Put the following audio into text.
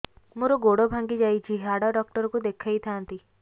ମୋର ଗୋଡ ଭାଙ୍ଗି ଯାଇଛି ହାଡ ଡକ୍ଟର ଙ୍କୁ ଦେଖେଇ ଥାନ୍ତି